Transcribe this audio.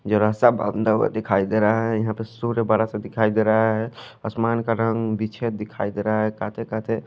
जरा सा बंधा हुआ दिखाई देरा है यहा पे सूर्य बड़ा सा दिखाई देरा है आसमान का रंग बिछे दिखाई डेरा है कटे कटे--